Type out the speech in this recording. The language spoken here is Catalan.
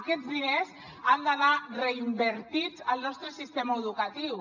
aquests diners han d’anar reinvertits al nostre sistema educatiu